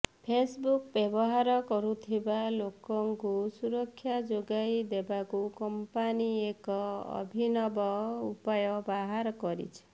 Facebook ବ୍ୟବହାର କରୁଥିବା ଲୋକଙ୍କୁ ସୁରକ୍ଷା ଯୋଗାଇ ଦେବାକୁ କମ୍ପାନୀ ଏକ ଅଭିନବ ଉପାୟ ବାହାର କରିଛି